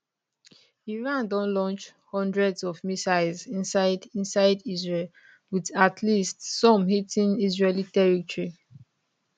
iran don launch hundreds of missiles inside inside israel wit at least some hitting israeli territory